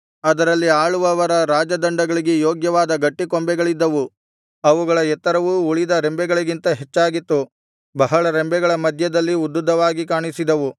ಅದರಲ್ಲಿ ಆಳುವವರ ರಾಜದಂಡಗಳಿಗೆ ಯೋಗ್ಯವಾದ ಗಟ್ಟಿಕೊಂಬೆಗಳಿದ್ದವು ಅವುಗಳ ಎತ್ತರವು ಉಳಿದ ರೆಂಬೆಗಳಿಗಿಂತ ಹೆಚ್ಚಾಗಿತ್ತು ಬಹಳ ರೆಂಬೆಗಳ ಮಧ್ಯದಲ್ಲಿ ಉದ್ದುದ್ದವಾಗಿ ಕಾಣಿಸಿದವು